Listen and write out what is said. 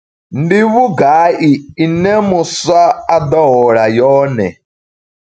Ndi vhugai ine muswa a ḓo hola yone?